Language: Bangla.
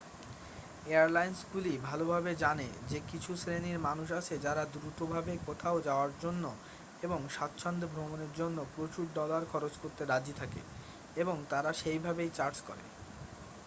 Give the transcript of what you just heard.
এয়ারলাইন্সগুলি ভালভাবে জানে যে কিছু শ্রেণীর মানুষ আছে যারা দ্রুত ভাবে কোথাও যাওয়ার জন্য এবং স্বাচ্ছন্দ্যে ভ্রমণের জন্য প্রচুর ডলার খরচ করতে রাজি থাকে এবং তারা সেইভাবেই চার্জ করে